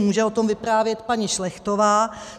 Může o tom vyprávět paní Šlechtová.